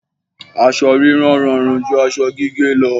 Aṣọ rírán rọrùn ju aṣọ gígé lọ.